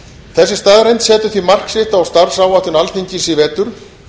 þessi staðreynd setur því mark sitt á starfsáætlun alþingis í vetur